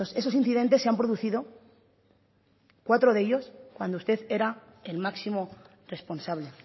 esos incidentes se han producido cuatro de ellos cuando usted era el máximo responsable